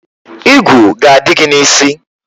Igwu ga-adị gị n' isi.